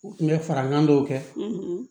U tun bɛ fara kan dɔw kɛ